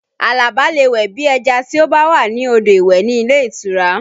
Alabi lè wẹ̀ bí ẹja tí ó bá wà ní odò ìwẹ̀ ní ilé ìtura